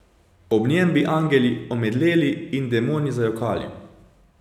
Ob njem bi angeli omedleli in demoni zajokali.